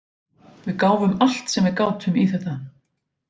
Við gáfum allt sem við gátum í þetta.